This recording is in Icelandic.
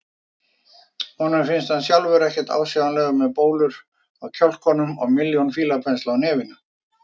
Honum finnst hann sjálfur ekkert ásjálegur með bólur á kjálkunum og milljón fílapensla á nefinu.